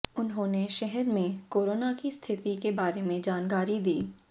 उन्होंने शहर में कोरोना की स्थिति के बारे में जानकारी दी